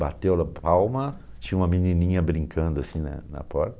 Bateu-le palma, tinha uma menininha brincando assim na na porta.